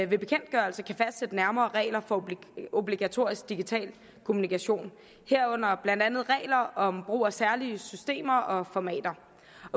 ved bekendtgørelse kan fastsætte nærmere regler for obligatorisk digital kommunikation herunder blandt andet regler om brug af særlige systemer og formater